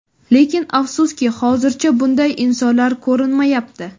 Lekin afsuski, hozircha bunday insonlar ko‘rinmayapti.